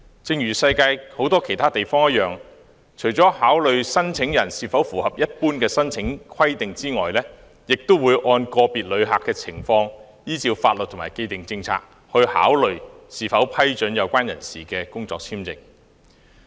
正如世界很多其他地方一樣，入境事務處除了考慮申請人是否符合一般的申請規定外，亦會按個別旅客的情況，依照法律和既定政策，考慮是否批准有關人士的工作簽證。